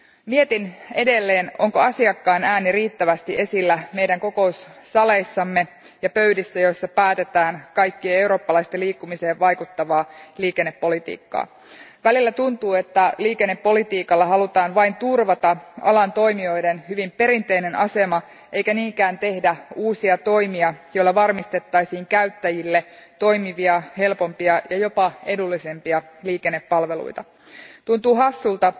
Mietin edelleen, onko asiakkaan ääni riittävästi esillä meidän kokoussaleissamme ja pöydissä, joissa päätetään kaikkien eurooppalaisten liikkumiseen vaikuttavaa liikennepolitiikkaa. Välillä tuntuu, että liikennepolitiikalla halutaan vain turvata alan toimijoiden hyvin perinteinen asema, eikä niinkään tehdä uusia toimia, joilla varmistettaisiin käyttäjille toimivia, helpompia ja jopa edullisempia liikennepalveluita. Tuntuu hassulta,